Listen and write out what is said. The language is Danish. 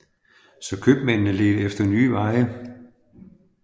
Så købmændene ledte efter nye veje